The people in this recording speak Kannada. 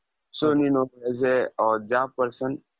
so ನೀನು as a job person,